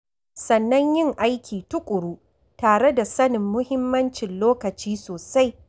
Sannan yin aiki tuƙuru tare da sanin muhimmancin lokaci sosai.